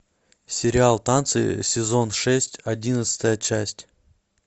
сериал танцы сезон шесть одиннадцатая часть